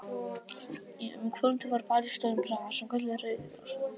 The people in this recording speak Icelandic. Um kvöldið var ball í stórum bragga, sem kallaður var Rauði Krossinn.